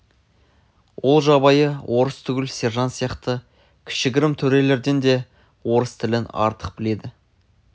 ол жабайы орыс түгіл сержант сияқты кішігірім төрелерден де орыс тілін артық біледі